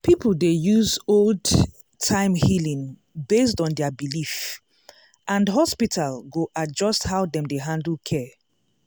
people dey use old-time healing based on their belief and hospital go adjust how dem dey handle care.